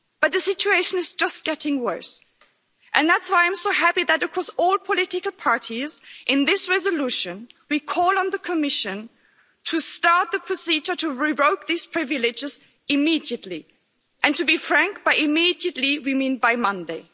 The situation is just getting worse, and that's why I'm so happy that across all political parties in this resolution we call on the Commission to start the procedure to revoke these privileges immediately and to be frank by immediately, we mean by Monday.